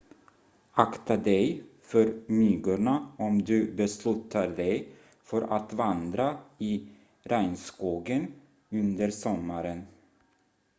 akta dig för myggorna om du beslutar dig för att vandra i regnskogen under sommaren